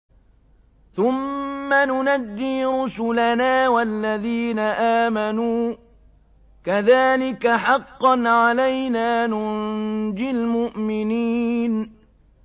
ثُمَّ نُنَجِّي رُسُلَنَا وَالَّذِينَ آمَنُوا ۚ كَذَٰلِكَ حَقًّا عَلَيْنَا نُنجِ الْمُؤْمِنِينَ